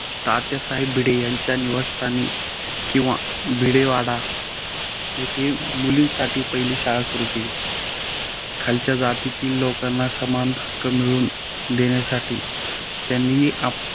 तात्यासाहेब भिडे यांच्या निवासस्थानी किंवा भिडेवाड येथे मुलींसाठी पहिली शाळा सुरू केली. खालच्या जातीतील लोकांना समान हक्क मिळवून देण्यासाठी त्यांनी